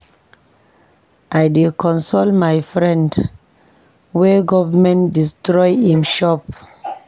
I dey console my friend wey government destroy im shop.